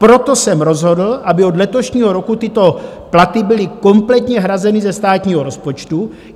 Proto jsem rozhodl, aby od letošního roku tyto platy byly kompletně hrazeny ze státního rozpočtu.